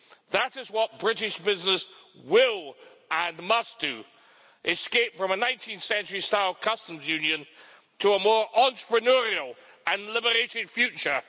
That is what British business will, and must, do escape from a 19th century style customs union to a more entrepreneurial and liberating future.